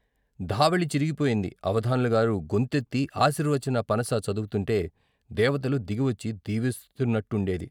ధావళీ చిరిగిపోయింది అవధాన్లగారు గొంతెత్తి ఆశీర్వచన పనస చదువుతుంటే దేవతలు దిగి వచ్చి దీవిస్తున్నట్టుండేది.